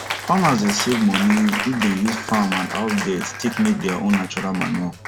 farmers dey save money if dem use farm and house dirt take make their own natural manure